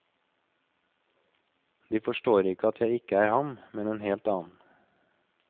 De forstår ikke at jeg ikke er ham, men en helt annen.